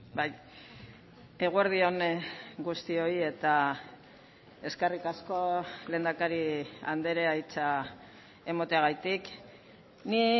bai eguerdi on guztioi eta eskerrik asko lehendakari andrea hitza emateagatik ni